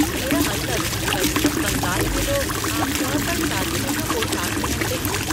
मेरा मतलब पश्चिम बंगाल में लोग आम तौर पर शादी में जो पोशाक पहनते हैं।